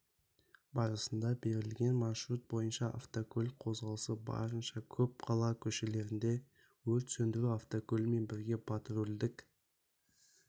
барысында берілген маршрут бойынша автокөлік қозғалысы барынша көп қала көшелерінде өрт сөндіру автокөлігімен бірге патрульдік